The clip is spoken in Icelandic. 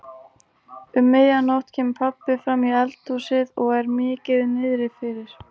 Um miðja nótt kemur pabbi framí eldhúsið og er mikið niðrifyrir.